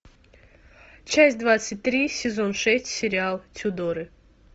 часть двадцать три сезон шесть сериал тюдоры